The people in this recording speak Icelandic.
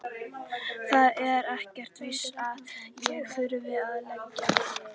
Það er ekkert víst að ég þurfi að leigja.